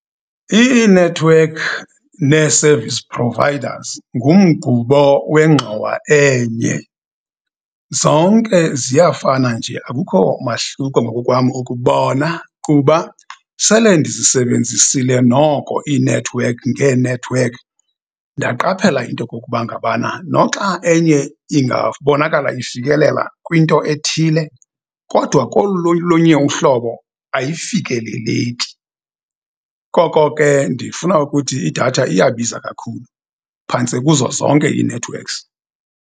Iinethiwekhi nee-service providers ngumgubo wengxowa enye, zonke ziyafana nje, akukho mahluko ngokokwam ukubona, kuba sele ndizisebenzisile noko iinethiwekhi ngeenethiwekhi. Ndaqaphela into kokuba ngabana, noxa enye ingabonakala ifikelela kwinto ethile, kodwa kolunye olunye uhlobo ayifikeleleki. Koko ke ndifuna ukuthi idatha iyabiza kakhulu, phantse kuzo zonke ii-networks.